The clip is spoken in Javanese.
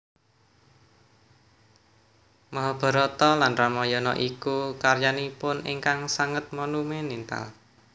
Mahabarata lan Ramayana inggih karyanipun ingkang sanget monumental